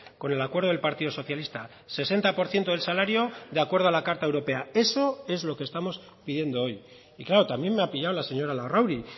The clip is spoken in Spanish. con el acuerdo del partido socialista sesenta por ciento del salario de acuerdo a la carta europea eso es lo que estamos pidiendo hoy y claro también me ha pillado la señora larrauri